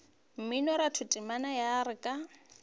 mminoratho temana ya re ka